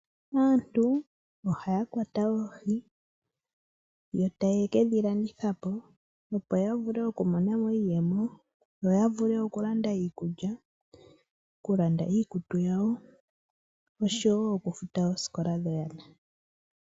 Aantu ohaya kwata oohi yo etaye kedhilanditha po, opo ya vule okumona iiyemo. Opo ya vule okulanda iikulya, iikutu yawo oshowo okufuta oosikola dhoyana.